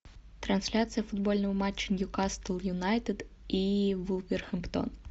трансляция футбольного матча ньюкасл юнайтед и вулверхэмптон